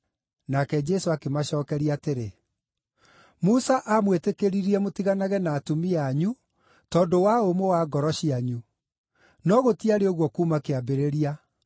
Nake Jesũ akĩmacookeria atĩrĩ, “Musa aamwĩtĩkĩririe mũtiganage na atumia anyu tondũ wa ũmũ wa ngoro cianyu. No gũtiarĩ ũguo kuuma kĩambĩrĩria.